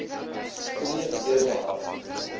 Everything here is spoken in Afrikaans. spreek ewe hard